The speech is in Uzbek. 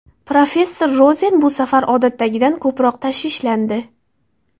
Professor Rozen bu safar odatdagidan ko‘proq tashvishlandi.